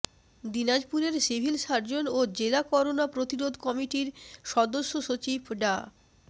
দিনাজপুরের civil surgeon ও জেলা করোনা প্রতিরোধ কমিটির সদস্য সচিব ডা